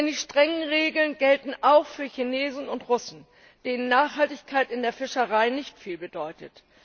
Denn die strengen Regeln gelten auch für Chinesen und Russen, denen Nachhaltigkeit in der Fischerei nicht viel bedeutet.